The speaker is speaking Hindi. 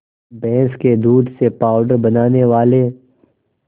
भैंस के दूध से पावडर बनाने वाले